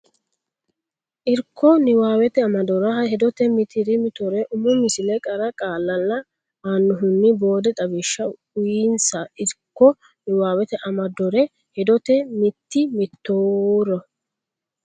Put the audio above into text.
Irko niwaawete amadore hedote mitii mituro umo misile qara qaalla la annohunni boode xawishsha uyinsa Irko niwaawete amadore hedote mitii mituro.